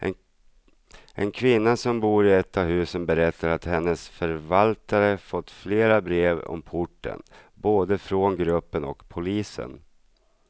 En kvinna som bor i ett av husen berättar att hennes förvaltare fått flera brev om porten, både från gruppen och polisen.